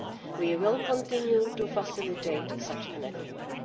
We will continue to facilitate such an agreement.